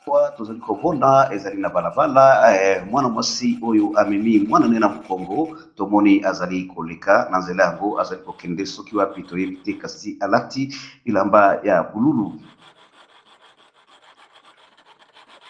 Awa tozali komona ezali na bala bala mwana mwasi oyo amemi muana ne na mokongo, tomoni azali koleka na nzela yango azali ko kende soki wapi toyebi te kasi alati bilamba ya bululu.